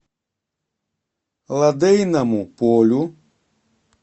лодейному полю